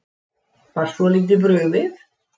Var svolítið brugðið